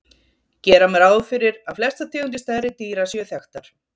gera má ráð fyrir að flestar tegundir stærri dýra séu þekktar